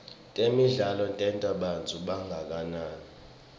temidlalo tenta bantfu bangagangi